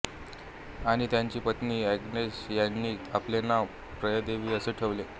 आणि त्याची पत्नी एग्नेस यांनी आपले नाव प्रियदेवी असे ठेवले